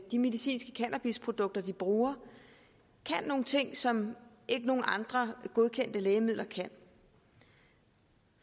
de medicinske cannabisprodukter de bruger kan nogle ting som ikke nogen andre godkendte lægemidler kan